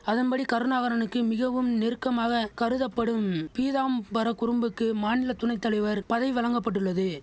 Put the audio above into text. அதம்படி கருணாகரனுக்கு மிகவும் நெருக்கமாக கருதப்படும் பீதாம்பரக்குறும்புக்கு மாநில துணை தலைவர் பதவி வழங்க பட்டுள்ளது